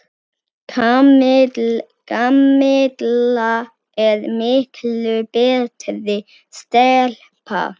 Kamilla er miklu betri stelpa.